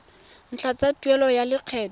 ntlha tsa tuelo ya lekgetho